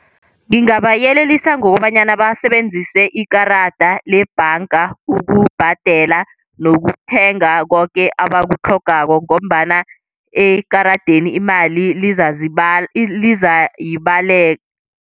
Ngingabayelelisa ngokobanyana basebenzise ikarada lebhanga ukubhadela nokuthenga koke abakutlhogako ngombana ekaradeni imali